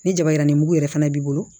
Ni jaba yiranbugu yɛrɛ fana b'i bolo